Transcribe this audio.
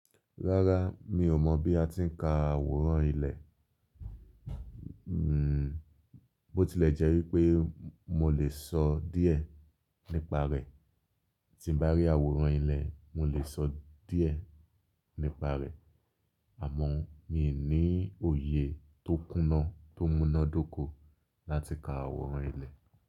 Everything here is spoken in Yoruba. Rárá, mi ò mọ̀ bí a ti ń ka àwòrán ilẹ̀. Bó tilẹ̀ jẹ́ wípé mo le sọ díẹ̀ nípa rẹ̀, tí bá rí àwòrán ilẹ̀, mo lè sọ díẹ̀ nípa rẹ̀. Àmọ́ mi ò ní òye tó kúná tó múná dóko láti ka àwòrán ilẹ̀.